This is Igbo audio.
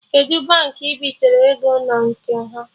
Kedụ Baankị ị bitere ego na nke ha?